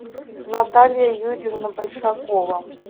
наталья юрьевна большакова